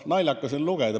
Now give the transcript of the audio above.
Naljakas on lugeda.